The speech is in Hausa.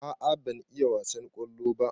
A'a ban iya wasan kwallo ba.